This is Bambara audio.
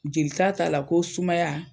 Jelita ta la ko sumaya